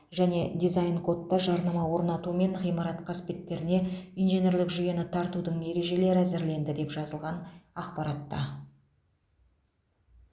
және дизайн кодта жарнама орнату мен ғимарат қасбеттеріне инженерлік жүйені тартудың ережелері әзірленді деп жазылған ақпаратта